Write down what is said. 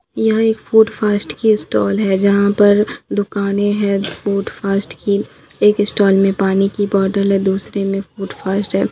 यहाँ एक food fast की स्टॉल है जहाँ पर दुकानें है फूड फास्ट की एक स्टॉल में पानी की बोतल है दूसरे में फूड फास्ट है।